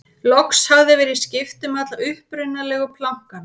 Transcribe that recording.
loks hafði verið skipt um alla upprunalegu plankana